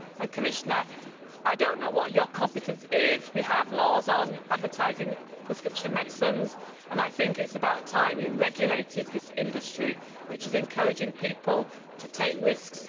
Commissioner, I do not know what your competence is, but as we have laws on advertising prescription medicines, I consider it about time we regulated this industry, which is encouraging people to take risks.